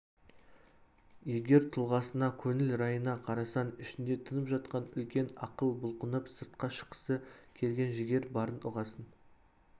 егер тұлғасына көңіл райына қарасаң ішінде тұнып жатқан үлкен ақыл бұлқынып сыртқа шыққысы келген жігер барын ұғасың